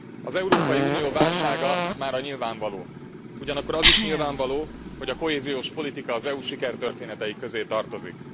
Az Európai Unió válsága mára nyilvánvaló, ugyanakkor az is nyilvánvaló, hogy a kohéziós politika az EU sikertörténetei közé tartozik.